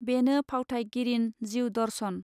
बेनो फावथायगिरिन जिउ दर्शन.